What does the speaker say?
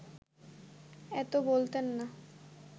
এত বলতেন না